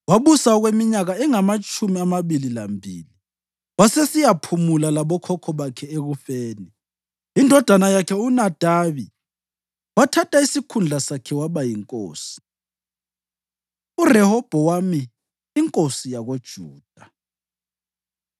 Wabusa okweminyaka engamatshumi amabili lambili wasesiyaphumula labokhokho bakhe ekufeni. Indodana yakhe uNadabi wathatha isikhundla sakhe waba yinkosi. URehobhowami Inkosi YakoJuda